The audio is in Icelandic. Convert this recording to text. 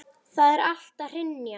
Það er allt að hrynja.